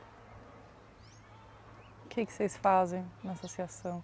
O que vocês fazem na associação?